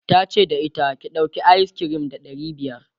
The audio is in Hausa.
tace da ita," ki ɗauki ayis kirim ba ɗari biyar!'